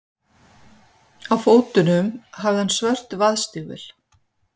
Á fótunum hafði hann svört vaðstígvél.